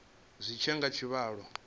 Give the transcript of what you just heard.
zwi tshi ya nga tshivhalo